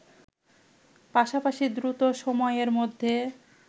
পাশাপাশি দ্রুত সময়ের মধ্যে